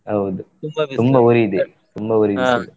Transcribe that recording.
ಹೌದು ತುಂಬಾ ಉರಿ ಇದೆ, ತುಂಬಾ ಉರಿ ಬಿಸಿಲು.